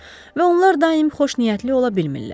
Və onlar daim xoşniyyətli ola bilmirlər.